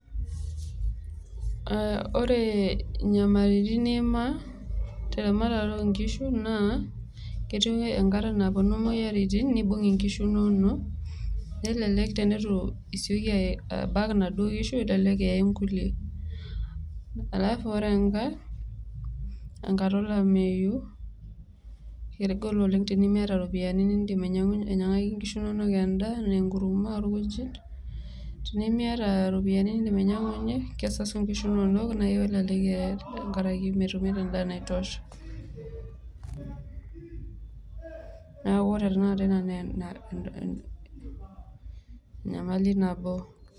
wore nyamalitin nimaa teramatare onkishu naa ketii enkata naponu moyiaritin nibung' inkishu inonok kelelek enitu sieki abak naduo kishu elelek eye nkulie halafu wore eng'ae tenkata olameyu kegol oleng' enimiata ropiyiani nindim ainyang'aki nkishu nonok endaa aa enkurma olkujit tenimiata ropiyiani nindiim ainyang'unyie kesasu nkishu tenkaraki metumito endaa naitosha neaku wore tenakata ina naa enyamali nabo